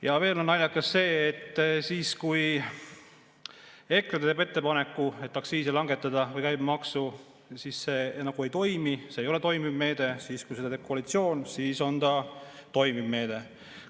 Ja veel on naljakas see, et kui EKRE teeb ettepaneku aktsiisi või käibemaksu langetada, siis see nagu ei toimi, see ei ole toimiv meede, aga kui seda teeb koalitsioon, siis on see toimiv meede.